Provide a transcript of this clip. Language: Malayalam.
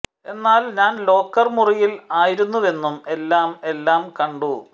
എന്നാൽ ഞാൻ ലോക്കർ മുറിയിൽ ആയിരുന്നുവെന്നും എല്ലാം എല്ലാം കണ്ടു